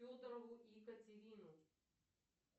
федорову екатерину